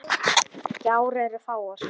Gjár eru fáar.